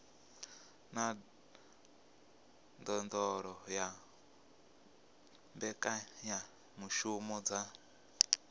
na ndondolo ya mbekanyamushumo dza